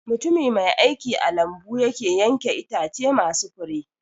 Mutumi mai aiki a lambu yake yanke Itace masu Fure